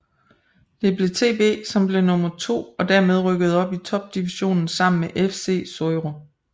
Det blev TB som blev nummer to og dermed rykkede op i topdivisionen sammen med FC Suðuroy